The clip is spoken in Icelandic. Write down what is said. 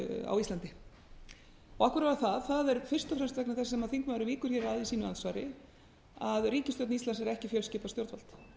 á íslandi af hverju var það það er fyrst og fremst vegna þess sem þingmaðurinn víkur hér að í sínu andsvari að ríkisstjórn íslands er ekki fjölskipað stjórnvald